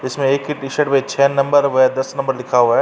इसमें एक ही टी-शर्ट में छह नंबर व दस नंबर लिखा हुआ है।